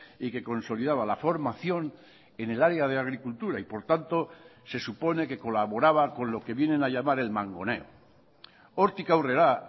y que consolidaba la formación en el área de agricultura y por tanto se supone que colaboraba con lo que vienen a llamar el mangoneo hortik aurrera